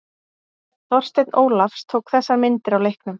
Þorsteinn Ólafs tók þessar myndir á leiknum.